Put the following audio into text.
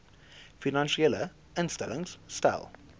finansiële instellings stel